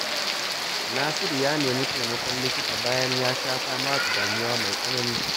Nasiru ya nemi taimakon likita bayan ya sha fama da damuwa mai tsanani.